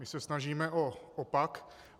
My se snažíme o opak.